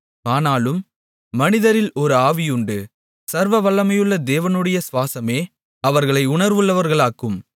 ஆனாலும் மனிதரில் ஒரு ஆவியுண்டு சர்வவல்லமையுள்ள தேவனுடைய சுவாசமே அவர்களை உணர்வுள்ளவர்களாக்கும்